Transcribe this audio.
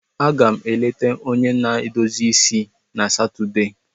Aga m eleta onye na-edozi isi na Satọde